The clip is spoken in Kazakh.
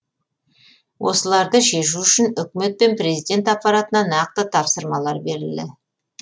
осыларды шешу үшін үкімет пен президент аппаратына нақты тапсырмалар берілді